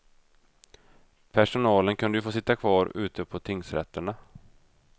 Personalen kunde ju få sitta kvar ute på tingsrätterna.